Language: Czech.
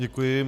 Děkuji.